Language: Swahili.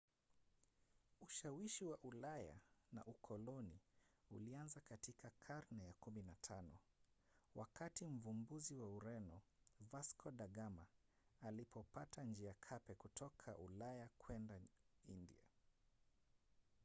ushawishi wa ulaya na ukoloni ulianza katika karne ya 15 wakati mvumbuzi wa ureno vasco da gama alipopata njia cape kutoka ulaya kwenda india